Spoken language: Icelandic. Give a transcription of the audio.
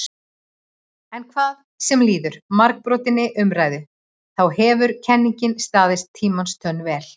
En hvað sem líður margbrotinni umræðu þá hefur kenningin staðist tímans tönn vel.